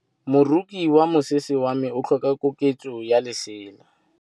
Moroki wa mosese wa me o tlhoka koketsô ya lesela.